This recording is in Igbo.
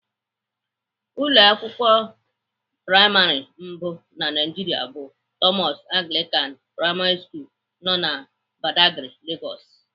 Ụlọ akwụkwọ praịmarị mbụ na Naịjiria bụ Thomas Anglican primary school nọ na Badagry, Lagos.